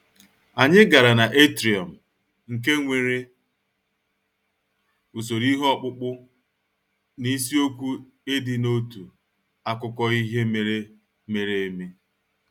Anyị gara na atrium, nke nwere usoro ihe ọkpụkpụ na isiokwu ịdị n'otu akụkọ ihe mere mere eme